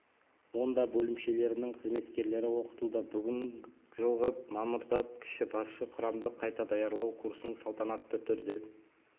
онда бөлімшелерінің қызметкерлері оқытылды бүгін жылғы мамырда кіші басшы құрамды қайта даярлау курсының салтанатты түрде